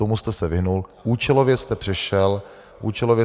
Tomu jste se vyhnul, účelově jste přešel tady k debatě.